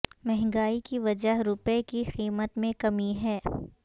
مہنگائی کی وجہ روپے کی قیمت میں کمی ہے